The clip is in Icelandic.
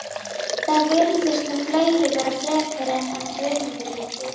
Það virðast nú fleiri vera frekir en hann Guðmundur litli